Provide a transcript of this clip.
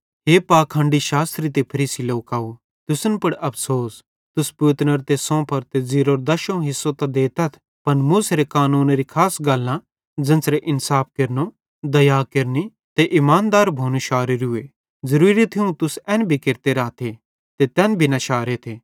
हे पाखंडी शास्त्री ते फरीसी लोकव तुसन पुड़ अफ़सोस तुस पुतनेरो ते सोंफ़ेरो ते ज़ीरेरो दशोवं हिस्सो त देतथ पन मूसेरे कानूनेरी खास गल्लां ज़ेन्च़रे इन्साफ केरनो दया केरनि ते इमानदार भोनू शारोरूए ज़ुरूरी थियूं तुस एन भी केरते राथे ते तैन भी न शारेथे